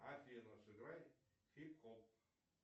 афина сыграй хип хоп